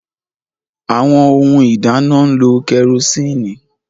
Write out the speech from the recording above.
Awọn Ohun ìdáná n'lo kerosinni